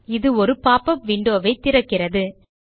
இது ஒரு pop up window வை திறக்கிறது